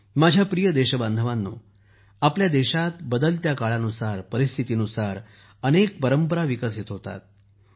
माझ्या प्रिय देशबांधवांनो आपल्या देशात बदलत्या काळानुसार परिस्थितीनुसार अनेक परंपरा विकसित होतात